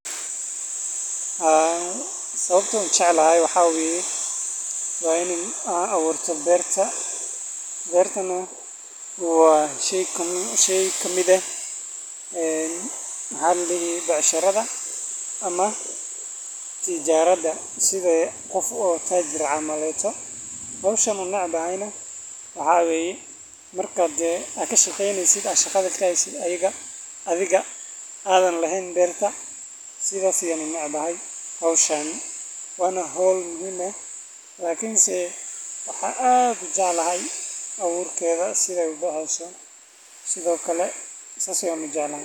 Haa sababta an u jeclahay waxa waye wa in abuurta berta beertana wa shay ka mid eh maxaladihi becsharada ama tijarada side qof o tajir camal howshan u necbahayna waxa weye marka hade ad kashaqeynesid a shaqada haysid athiga adhan laheyn beerta. Sidas aya unecbahay howshan wana howl muhim eh lakinse waxa ad ujeclahay abuurkeda sida ubaxeeyso sido kale sas ayan ujeclahay.